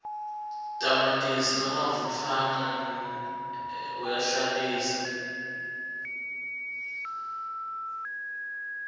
tamatisi longavutfwaneja uyahlantisa